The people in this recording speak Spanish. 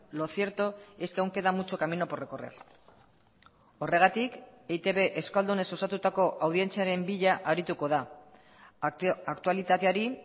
lo cierto es que aún queda mucho camino por recorrer horregatik eitb euskaldunez osatutako audientziaren bila arituko da aktualitateari